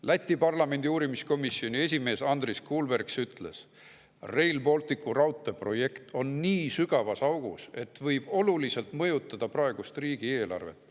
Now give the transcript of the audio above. Läti parlamendi uurimiskomisjoni esimees Andris Kulbergs ütles, et Rail Balticu raudtee projekt on nii sügavas augus, et võib oluliselt mõjutada praegust riigieelarvet.